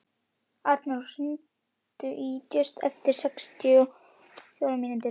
Arnór, hringdu í Júst eftir sextíu og fjórar mínútur.